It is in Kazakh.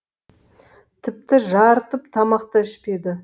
тіпті жарытып тамақ та ішпеді